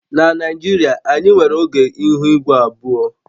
Na Naijiria, anyị nwere oge ihu igwe abụọ